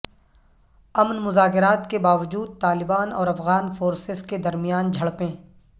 امن مذاکرات کے باوجود طالبان اور افغان فورسز کے درمیان جھڑپیں